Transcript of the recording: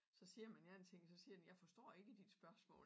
Så siger man én ting så siger den jeg forstå ikke dit spørgsmål